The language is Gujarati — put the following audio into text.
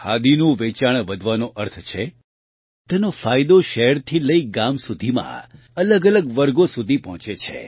ખાદીનું વેચાણ વધવાનો અર્થ છે તેનો ફાયદો શહેરથી લઇ ગામ સુધીમાં અલગઅલગ વર્ગો સુધી પહોંચે છે